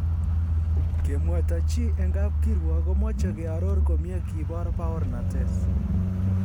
Kemwaita chi en kap kiruok komoche kearor komie kibor baornatet.